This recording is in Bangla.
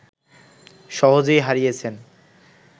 সহজেই হারিয়েছেন